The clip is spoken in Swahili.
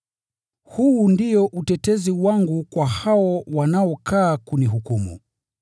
Huu ndio utetezi wangu kwa hao wanaokaa kunihukumu.